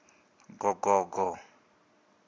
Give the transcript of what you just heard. gogogo